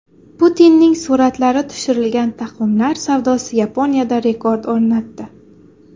Putinning suratlari tushirilgan taqvimlar savdosi Yaponiyada rekord o‘rnatdi.